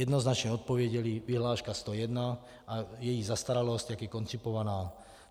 Jednoznačně odpověděli: vyhláška 101 a její zastaralost, jak je koncipovaná.